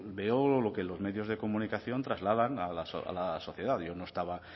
veo lo que los medios de comunicación trasladan a la sociedad yo no estaba